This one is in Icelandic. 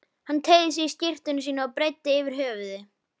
Hann teygði sig í skyrtuna sína og breiddi yfir höfuð.